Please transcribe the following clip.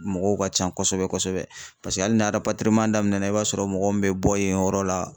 Mɔgɔw ka ca kosɛbɛ kosɛbɛ , paseke hali n'a papiye daminɛ na i b'a sɔrɔ mɔgɔ min bɛ bɔ yen yɔrɔ la